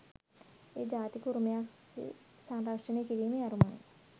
එය ජාතික උරුමයක්‌ සෙ සංරක්‍ෂණය කිරීමේ අරමුණින්